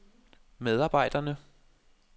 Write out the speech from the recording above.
medarbejderne